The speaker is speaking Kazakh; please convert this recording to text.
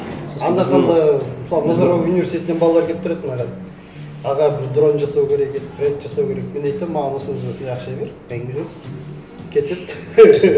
анда санда мысалы назарбаев университетінен балалар келіп тұрады маған аға бір дрон жасау ерек еді проект жасау керек мен айтамын маған осындай осындай ақша бер әңгіме жоқ істеймін кетеді